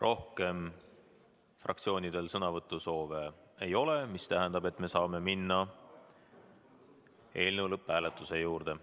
Rohkem fraktsioonidel sõnavõtusoove ei ole, mis tähendab, et me saame minna eelnõu lõpphääletuse juurde.